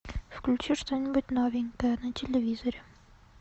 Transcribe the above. включи что нибудь новенькое на телевизоре